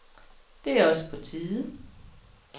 Det er også på tide.